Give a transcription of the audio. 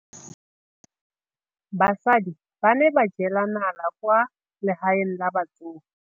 Basadi ba ne ba jela nala kwaa legaeng la batsofe.